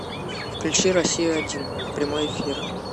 включи россию один прямой эфир